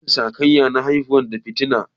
Rashin sa kayan aiki na haifar da fitina